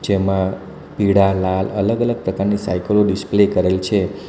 જેમાં પીળા લાલ અલગ-અલગ પ્રકારની સાયકલો ડિસ્પ્લે કરેલ છે.